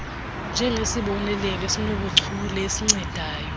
njengesibonelelo sobuchule esincedayo